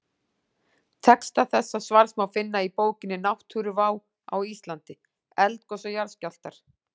Texta þessa svars má finna í bókinni Náttúruvá á Íslandi: Eldgos og jarðskjálftar.